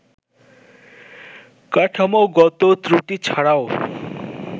কাঠামোগত ত্রুটি ছাড়াও